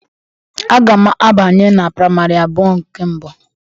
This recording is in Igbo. Agam abanye na praịmarị abụọ nke mbụ.